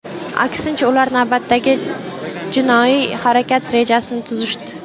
Aksincha, ular navbatdagi jinoiy harakat rejasini tuzishdi.